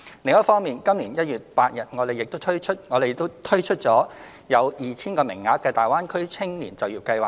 另一方面，今年1月8日，我們亦推出了有 2,000 個名額的大灣區青年就業計劃。